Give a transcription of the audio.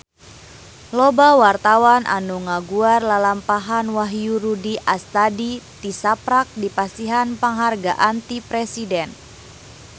Loba wartawan anu ngaguar lalampahan Wahyu Rudi Astadi tisaprak dipasihan panghargaan ti Presiden